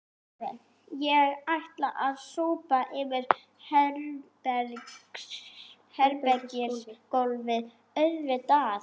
Ég ætla að sópa yfir herbergisgólfið auðvitað